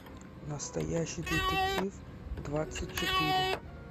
настоящий детектив двадцать четыре